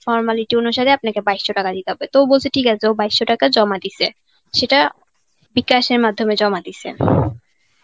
formality অনুসারে আপনাকে বাইশশো টাকা দিতে হবে. তো বলছে ঠিক আছে. ও বাইশশো টাকা জমা দিছে. সেটা বিকাশের মাধ্যমে জমা দিছে.